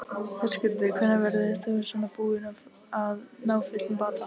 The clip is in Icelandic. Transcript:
Höskuldur: Hvenær verður þú svona búinn að ná fullum bata?